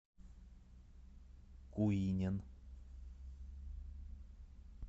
куинен